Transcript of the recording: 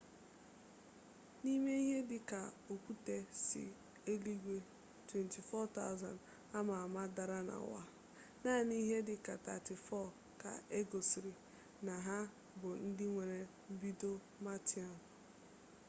n'ime ihe dị ka okwute si eluigwe 24,000 ama ama dara na ụwa naanị ihe dị ka 34 ka egosiri na ha bụ ndị nwere mbido martian